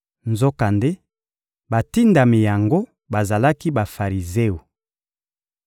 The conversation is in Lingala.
Nzokande batindami yango bazalaki Bafarizeo.